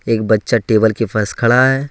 एक बच्चा टेबल के पास खड़ा है।